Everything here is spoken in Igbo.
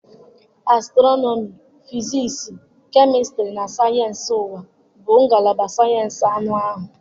Astrọnọmị Fiziisii, kemịstrị na sayensị ụwa bụ ngalaba sayensị anụ ahụ.